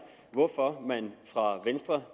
hvorfor man fra venstres